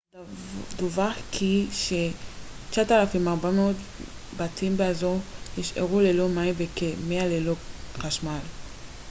דווח כי ש-9400 בתים באזור נשארו ללא מים וכ-100 ללא חשמל